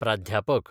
प्राध्यापक